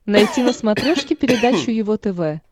найти на смотрешке передачу его тв